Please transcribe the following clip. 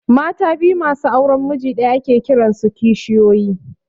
Mata biyu masu auran miji ɗaya ake kiran su kishiyoyi